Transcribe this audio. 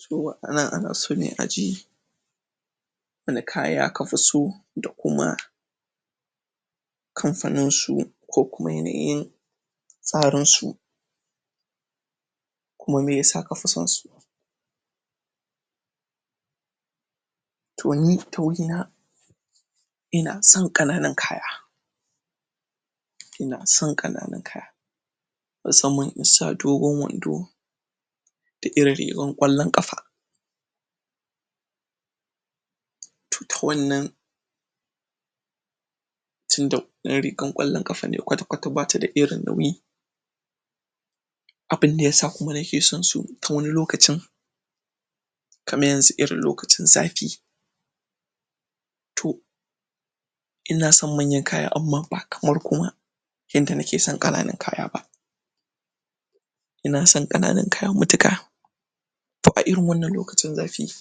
cikin waɗannan ana so ne aji wane kaya kafiso da kuma kamfaninsu ko kuma yanayin tsarinsu kuma meyasa kafi sansu inasan kananan kaya inasan kananan kaya musamman inasa dogon wando da irin rigan ƙwallan ƙafa to ta wannan tunda wannan rigan ƙwallan ƙafa ne kwatakwata bata da irin nauyi abunda ya sa kuma nake sansu wani lokacin kamar yanzu irin lokacin zafi to inasan manyan kaya amma ba kamar kuma yanda nakesan kananan kaya ba inasan kananan kaya matuƙa a irin wanann lokacin zafi